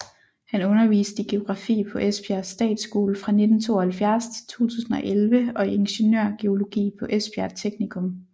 Han underviste i geografi på Esbjerg Statsskole fra 1972 til 2011 og i ingeniørgeologi på Esbjerg Teknikum